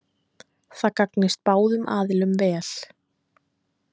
Það gagnist báðum aðilum vel